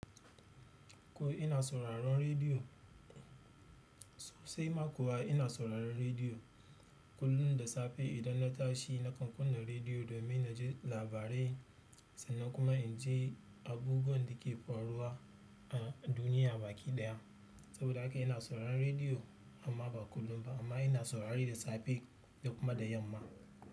Ko ina sauraron rediyo? Sosai ma kuwa ina sauraron rediyo kullum da safe idan na tashi nakan kunna rediyo domin na ji labarai sannan kuma in ji abubuwan da ke faruwa a duniya baki ɗaya. Saboda haka ina sauraron rediyo amma ba kullum ba amma ina saurare da safe da kuma da yamma.